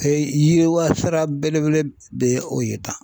yiriwa sira belebele de ye o ye tan.